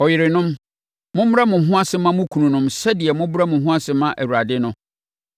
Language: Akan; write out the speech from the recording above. Ɔyerenom, mommrɛ mo ho ase mma mo kununom sɛdeɛ mobrɛ mo ho ase ma Awurade no,